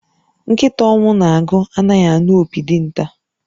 Nkịta ọnwụ na-agụ anaghi anu opi dinta